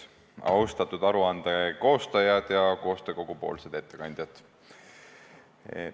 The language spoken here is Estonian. Austatud aruande koostajad ja koostöö kogu ettekandjad!